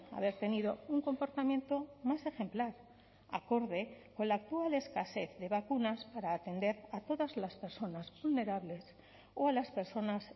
haber tenido un comportamiento más ejemplar acorde con la actual escasez de vacunas para atender a todas las personas vulnerables o a las personas